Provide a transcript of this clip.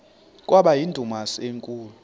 kwaba yindumasi enkulu